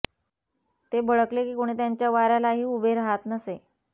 ते भडकले की कोणी त्यांच्या वाऱ्यालाही उभे राहात नसे